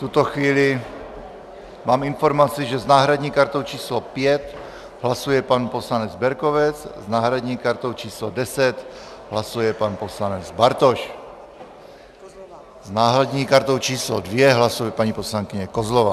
V tuto chvíli mám informaci, že s náhradní kartou číslo 5 hlasuje pan poslanec Berkovec, s náhradní kartou číslo 10 hlasuje pan poslanec Bartoš, s náhradní kartou číslo 2 hlasuje paní poslankyně Kozlová.